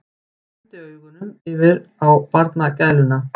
Renndi augunum yfir á barnagæluna.